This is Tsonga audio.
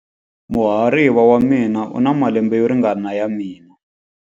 Muhariva wa mina u na malembe yo ringana na ya mina.